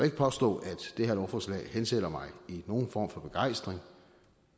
ikke påstå at det her lovforslag hensætter mig i nogen form for begejstring